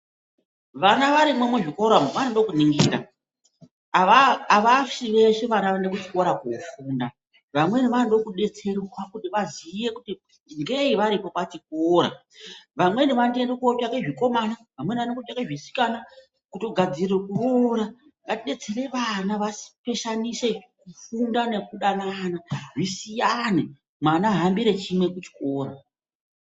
Vana varimwo muzvikora umwo vanoda kuningira. Avashi veshe vana vanoenda kuchikora kofunda. Vamweni vanoda kudetserwa kuti vaziye kuti ngei varipo pachikora. Vamweni vanotoenda kotsvaka zvikomana, vamweni vanoenda kotsvaka zvisikana kutogadzirira kuroora. Ngatidetsere vapeshanise kufunda nekudanana mwana ahambure chimwe kuchikora.